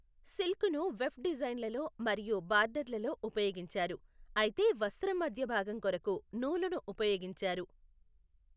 సిల్క్ను weft డిజైన్లలో మరియు బార్డర్లలో ఉపయోగించారు, అయితే వస్త్రం మధ్య భాగం కొరకు నూలును ఉపయోగించారు.